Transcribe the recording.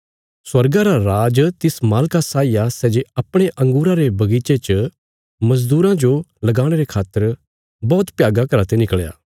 स्वर्गा रा राज इस उदाहरणा साई आ एक जमीनदार था सै जे अपणे अंगूरां रे बगीचे च मजदूरां जो लगाणे रे खातर बौहत भ्यागा घरा ते निकल़या